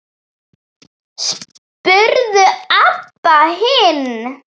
spurði Abba hin.